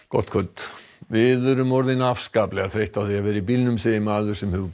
gott kvöld við erum orðin óskaplega þreytt á því að vera í bílnum segir maður sem